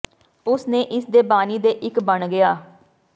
ਉਸ ਨੇ ਇਸ ਦੇ ਬਾਨੀ ਦੇ ਇੱਕ ਬਣ ਗਿਆ